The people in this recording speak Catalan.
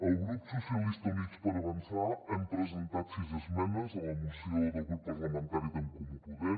el grup socialistes i units per avançar hem presentat sis esmenes a la moció del grup parlamentari d’en comú podem